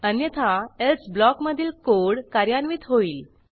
अन्यथा एल्से ब्लॉकमधील कोड कार्यान्वित होईल